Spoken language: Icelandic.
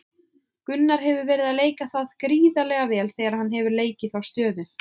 Gunnar hefur verið að leika það gríðarlega vel þegar hann hefur leikið þá stöðu.